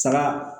Saga